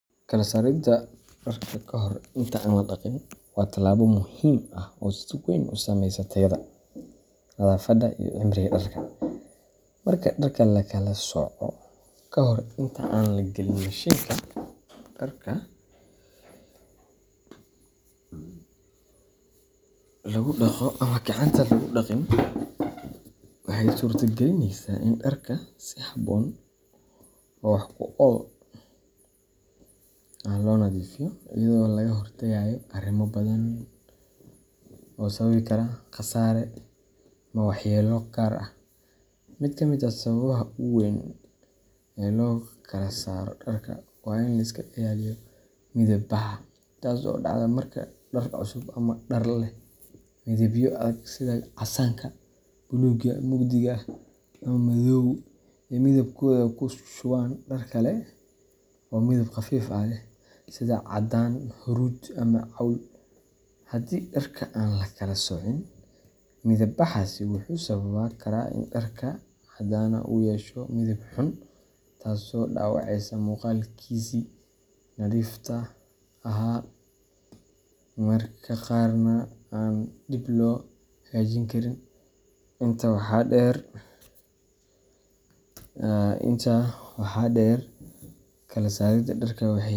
Kala saaridda dharka ka hor inta aan la dhaqin waa tallaabo muhiim ah oo si weyn u saameysa tayada, nadaafadda, iyo cimriga dharka. Marka dharka la kala sooco ka hor inta aan la galin mashiinka dharka lagu dhaqo ama gacanta lagu dhaqin, waxa ay suurto-gelinaysaa in dharka si habboon oo wax ku ool ah loo nadiifiyo iyadoo laga hortagayo arrimo badan oo sababi kara khasaare ama waxyeello gaar ah. Mid ka mid ah sababaha ugu weyn ee loo kala saaro dharka waa in la iska ilaaliyo midab baxa, taas oo dhacda marka dhar cusub ama dhar leh midabyo adag sida casaanka, buluugga mugdiga ah, ama madowga ay midabkooda ku shubaan dhar kale oo midab khafiif ah leh sida caddaan, huruud, ama cawl. Haddii dharka aan la kala soocin, midab-baxaasi wuxuu sababi karaa in dharkii caddaanaa uu yeesho midab xun, taasoo dhaawaceysa muuqaalkiisii nadiifta ahaa, mararka qaarna aan dib loo hagaajin karin. Intaa waxaa dheer, kala saaridda dharka waxay.